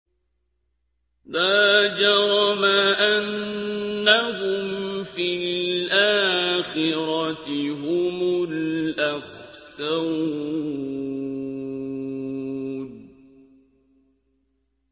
لَا جَرَمَ أَنَّهُمْ فِي الْآخِرَةِ هُمُ الْأَخْسَرُونَ